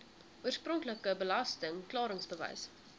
oorspronklike belasting klaringsbewys